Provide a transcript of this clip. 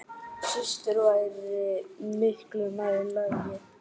Systur væri miklu nær lagi.